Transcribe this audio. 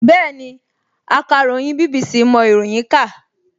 Bẹ́ẹ̀ni, akàròyìn BBC mọ ìròyìn kà